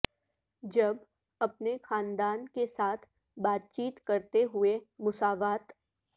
جب اپنے خاندان کے ساتھ بات چیت کرتے ہوئے مساوات